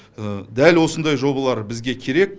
дәл осындай жобалар бізге керек